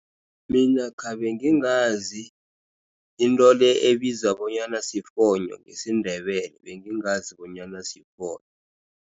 Mina khabe ngingazi into le ebizwa bonyana sifonyo ngesiNdebele bengingazi bonyana sifonyo.